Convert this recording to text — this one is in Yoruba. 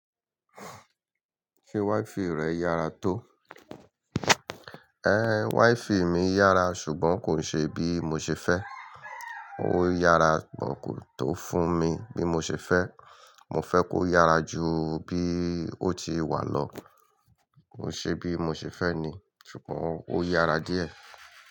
Ṣé wi-fi rẹ yára tó? Ẹ, wi-fi mi yára ṣùgbọ́n kò ṣe bí mo ṣe fẹ́. Ó yára ṣùgbọ́n kò tó fún mi bí mo ṣe fẹ́. Mo fẹ́ kó yára ju bí ó ti wà lọ. Kò ṣe bí mo ṣe fẹ́ ní ṣùgbọ́n ó yára díẹ̀